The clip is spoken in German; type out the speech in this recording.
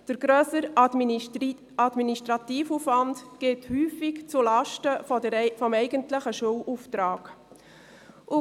Der grössere Administrativaufwand geht häufig zulasten des eigentlichen Schulauftrags.